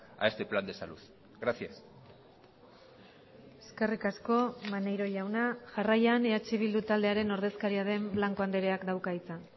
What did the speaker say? a este plan de salud gracias eskerrik asko maneiro jauna jarraian eh bildu taldearen ordezkaria den blanco andreak dauka hitza